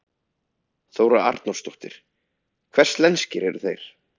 Þóra Arnórsdóttir: Hvers lenskir eru þeir?